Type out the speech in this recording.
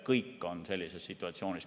Kõik on sellises situatsioonis.